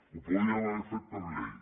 ho podíem haver fet per llei